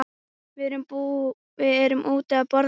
Við erum úti að borða.